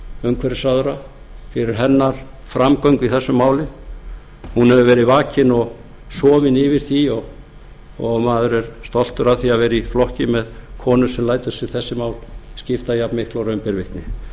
umhverfisráðherra fyrir hennar framgöngu í þessu máli hún hefur verið vakin og sofin yfir því og maður er stoltur af því að vera í flokki með konu sem lætur sig þessi mál skipta jafnmiklu og raun ber vitni